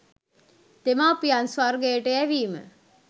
දෙමව්පියන් ස්වර්ගයට යැවීම